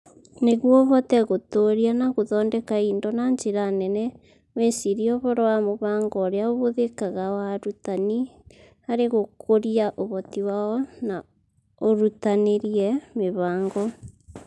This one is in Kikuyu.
Nĩguo ũhote gũtũũria na gũthondeka indo na njĩra nene, wĩcirie ũhoro wa mũbango ũrĩa ũhũthĩkaga wa arutani harĩ gũkũria ũhoti wao na ũrutanĩrie mĩbango.